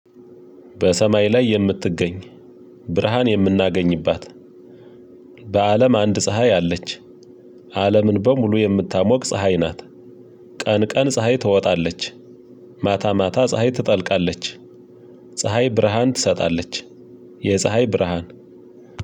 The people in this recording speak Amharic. በሰማይ ላይ የምትገኝ ብርሃን የምናገኝባት በአለም አንድ ፀሀይ አለች። አለምን በሙሉ የምታሞቅ ፀሀይ ናት። ቀን ቀን ፀሀይ ትወጣለች። ማታ ማታ ፀሀይ ትጠልቃለች። ፀሀይ ብርሃን ትሰጣለች። የፀሀይ ብርሃን